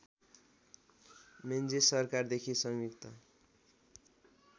Menzies सरकारदेखि संयुक्त